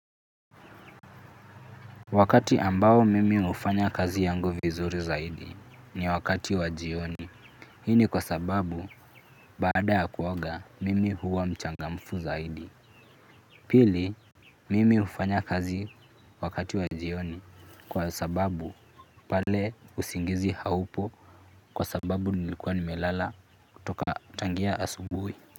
Wakati ambao mimi hufanya kazi yangu vizuri zaidi, ni wakati wa jioni, hii ni kwa sababu, baada ya kuoga, mimi huwa mchangamfu zaidi. Pili, mimi hufanya kazi, wakati wa jioni, kwa sababu pale usingizi haupo, kwa sababu nilikuwa nimelala, kutoka tangia asubuhi.